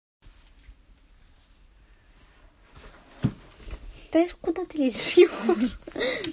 да куда ты лезешь